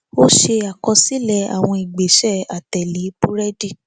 ó ṣe àkọsílẹ àwọn ìgbésẹ àtẹlé búrédì